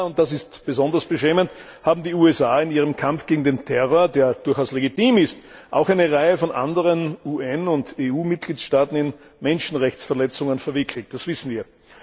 Leider und das ist besonders beschämend haben die USA in ihrem Kampf gegen den Terror, der durchaus legitim ist, auch eine Reihe von anderen UN und EU Mitgliedstaaten in Menschenrechtsverletzungen verwickelt. Das wissen wir.